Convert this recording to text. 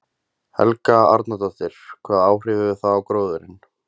Helga Arnardóttir: Hvaða áhrif hefur það á gróðurinn?